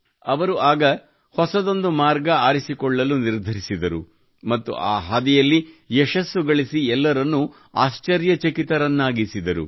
ಅವರು ಆಗ ಹೊಸದೊಂದು ಮಾರ್ಗ ಆರಿಸಿಕೊಳ್ಳಲು ನಿರ್ಧರಿಸಿದರು ಮತ್ತು ಆ ಹಾದಿಯಲ್ಲಿ ಯಶಸ್ಸು ಗಳಿಸಿ ಎಲ್ಲರನ್ನೂ ಆಶ್ಚರ್ಯಚಕಿತರನ್ನಾಗಿಸಿದರು